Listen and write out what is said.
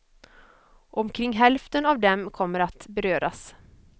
Omkring hälften av dem kommer att beröras.